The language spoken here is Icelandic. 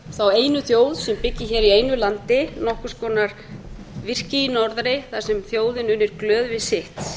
þá einu þjóð sem byggi hér í einu landi nokkurs konar virki í norðri þar sem þjóðin unir glöð við sitt